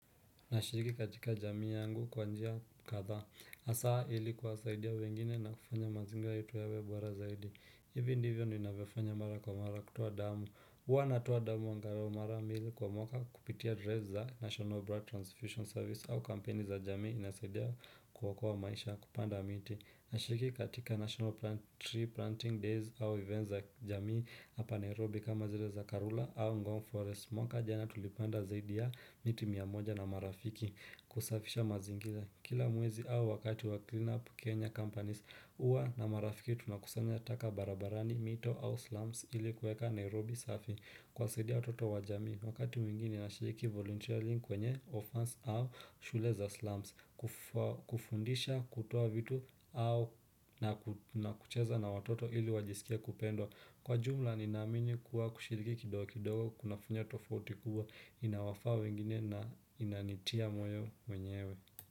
Nashiriki katika jamii yangu kwa njia kadha. Hasa ili kuwasaidia wengine na kufanya mazingira yetu yawe bora zaidi. Ivi ndivyo ninavyofanya mara kwa mara kutoa damu. Huwa natoa damu angalau mara mbili kwa mwaka kupitia adresi za National Broad Transfusion Service au kampeni za jamii inasaidia kuokoa maisha kupanda miti. Nashiriki katika National Tree Planting Days au events za jamii hapa Nairobi kama zile za Karura au Ngong Forest. Mwaka jana tulipanda zaidi ya miti mia moja na marafiki kusafisha mazingira. Kila mwezi au wakati wa cleanup Kenya Companies huwa na marafiki tunakusanya taka barabarani mito au slums ili kueka Nairobi safi. Kuwasaidia watoto wa jamii, wakati mwingine nashiriki voluntarily kwenye orphans au shule za slums, kufundisha kutoa vitu au na kucheza na watoto ili wajisikie kupendwa Kwa jumla nina amini kuwa kushiriki kidogo kidogo, kunafanya tofauti kubwa, inaowafaa wengine na inanitia moyo mwenyewe.